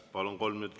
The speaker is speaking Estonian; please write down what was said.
Palun!